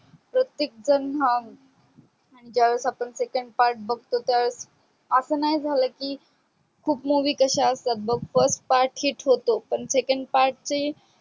प्रतेकण जन हा ज्या वेळेस आपण second part बगतो त्या वेळेस अस नाही झाल की खूप movie कश्या असतो बग first part hits होतो पण second part ची